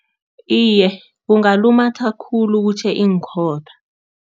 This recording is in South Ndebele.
Iye, kungalumatha khulu kutjhe iinkhotha.